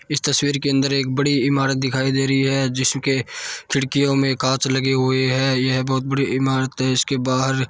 इस तस्वीर के अन्दर एक बड़ी इमारत दिखाई दे रही है जिसके खिड़की में कॉच लगे हुये है ये बहुत बड़ी इमारत है इसके बाहर--